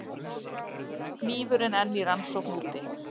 Hnífurinn enn í rannsókn úti